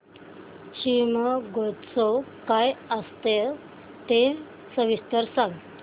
शिमगोत्सव काय असतो ते सविस्तर सांग